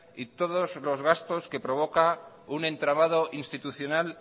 y todos los gastos que provoca un entramado institucional